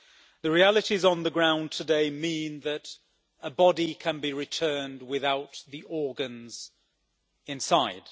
The realities on the ground today mean that a body can be returned without the organs inside.